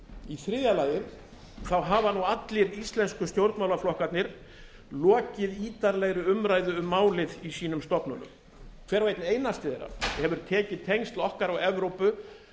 í þriðja lagi hafa allir íslensku stónrmálaflokkarnir lokið ítarlegri umræðu um málið í sínum stofnunum hver og einn einasti þeirra hefur tekið tengsl okkar og evrópu